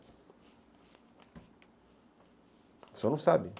O senhor não sabe.